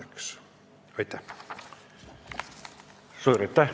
Suur aitäh!